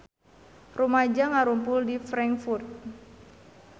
Rumaja ngarumpul di Frankfurt